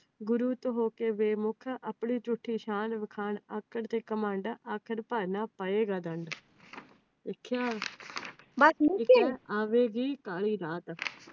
ਗੁਰੂ ਤੋਂ ਹੋ ਕੇ ਬੇਮੁਖ, ਝੂਠੀ ਸ਼ਾਨ ਵਖਾਣ, ਆਕੜ ਤੇ ਘਮੰਡ